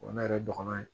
O ye ne yɛrɛ dɔgɔnin ye